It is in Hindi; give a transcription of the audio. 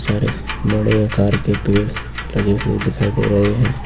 सारे बड़े आकार के पेड़ लगे हुए दिखाई दे रहे हैं।